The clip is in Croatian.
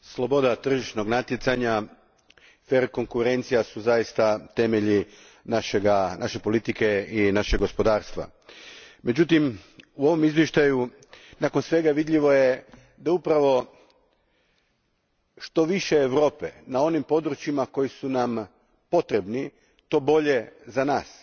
Gospođo predsjednice, sloboda tržišnog natjecanja i konkurencija su zaista temelji naše politike i našeg gospodarstva. Međutim, u ovom izvještaju nakon svega je vidljivo da upravo što više Europe na onim područjima koja su nam potrebna to bolje za nas,